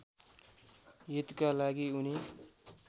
हितका लागि उनी